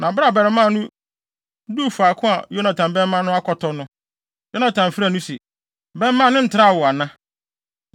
Na bere a abarimaa no duu faako a Yonatan bɛmma no akɔtɔ no, Yonatan frɛɛ no se, “bɛmma no ntraa wo ana?”